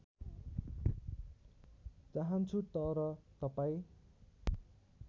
चाहन्छु तर तपाईँ